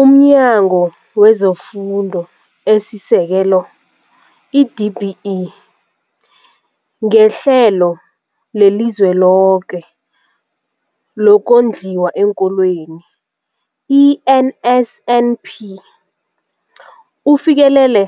UmNyango wezeFundo esiSekelo, i-DBE, ngeHlelo leliZweloke lokoNdliwa eenKolweni, i-NSNP, ufikelele